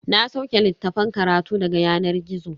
Na sauke littafan karatu daga yanar gizo.